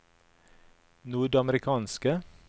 nordamerikanske